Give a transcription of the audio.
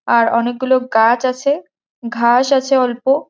আর অনেকগুলো গাছ আছে ঘাস আছে অল্প --